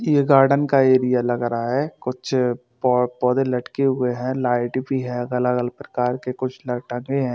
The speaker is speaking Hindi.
ये गार्डन का एरिया लग रहा है कुछ पौ पौधे लटके हुए हैं लाइट भी है अलग-अलग प्रकार के कुछ ल टंगे है।